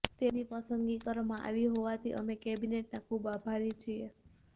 તેમની પસંદગી કરવામાં આવી હોવાથી અમે કેબિનેટના ખૂબ આભારી છીએ